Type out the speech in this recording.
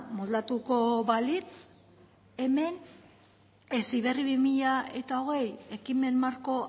moldatuko balitz hemen heziberri bi mila hogei ekimen marko